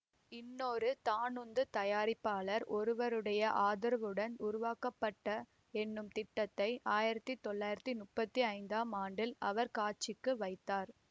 இன்னொரு தானுந்துத் தயாரிப்பாளர் ஒருவருடைய ஆதரவுடன் உருவாக்கப்பட்ட என்னும் திட்டத்தை ஆயிரத்தி தொள்ளாயிரத்தி முப்பத்தி ஐந்தாம் ஆண்டில் அவர் காட்சிக்கு வைத்தார்